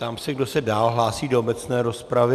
Ptám se, kdo se dál hlásí do obecné rozpravy.